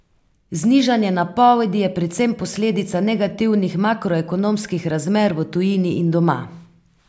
Znižanje napovedi je predvsem posledica negativnih makroekonomskih razmer v tujini in doma.